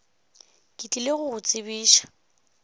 ke tlile go go tsebiša